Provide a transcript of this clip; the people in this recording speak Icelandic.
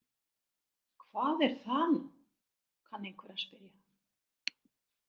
Hvað er það nú, kann einhver að spyrja.